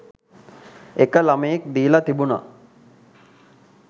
එක ළමයෙක් දීලා තිබුණා